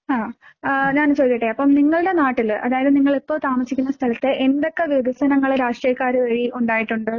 ആഹ് ആഹ് ഞാനൊന്ന് ചോയിക്കട്ടെ അപ്പോ നിങ്ങളുടെ നാട്ടില് അതായത് നിങ്ങൾ ഇപ്പൊ താമസിക്കുന്ന സ്ഥലത്തെ എന്തൊക്കെ വികസനങ്ങള് രാഷ്ട്രീയക്കാര് വഴി ഉണ്ടായിട്ടുണ്ട്?